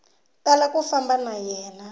tala ku famba na yena